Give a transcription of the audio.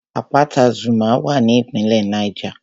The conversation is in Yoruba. Àpáta Zuma wà ní ìpínlẹ̀ Niger